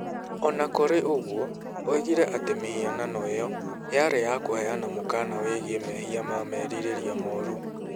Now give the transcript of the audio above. O na kũrĩ ũguo, oigire atĩ mĩhianano ĩyo yarĩ ya kũheana mũkaana wĩgiĩ mehia ma merirĩria moru.